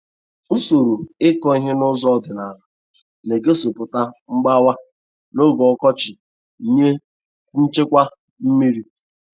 Usoro ịkọ he n'ụzọ ọdịnala na-egosịpụta mgbawa n'oge ọkọchị nye nchekwa mmiri.